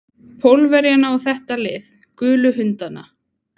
Pólverjana og þetta lið. gulu hundana.